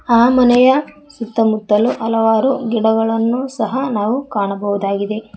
ಆ ಮನೆಯ ಸುತ್ತಮುತ್ತಲು ಹಲವಾರು ಗಿಡಗಳನ್ನು ಸಹ ನಾವು ಕಾಣಬಹುದಾಗಿದೆ.